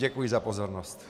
Děkuji za pozornost.